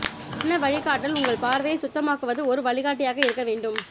என்ன வழிகாட்டல் உங்கள் பார்வையை சுத்தமாக்குவது ஒரு வழிகாட்டியாக இருக்க வேண்டும்